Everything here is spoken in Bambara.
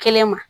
Kelen ma